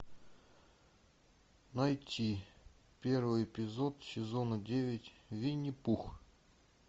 найти первый эпизод сезона девять винни пух